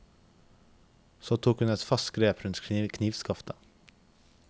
Så tok hun et fast grep rundt knivskaftet.